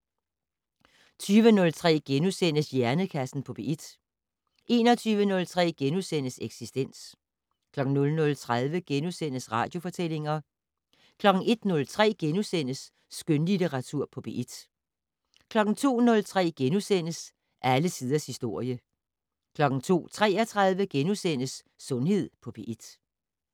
20:03: Hjernekassen på P1 * 21:03: Eksistens * 00:30: Radiofortællinger * 01:03: Skønlitteratur på P1 * 02:03: Alle tiders historie * 02:33: Sundhed på P1 *